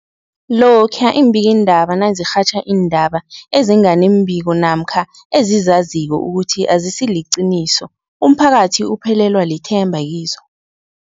Lokhuya iimbikiindaba nazirhatjha iindaba ezinga nembiko namkha ezizaziko ukuthi azisiliqiniso, umphakathi uphelelwa lithemba kizo.